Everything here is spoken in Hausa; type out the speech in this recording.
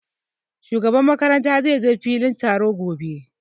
Shugaban makaranta zai zo filin taro gobe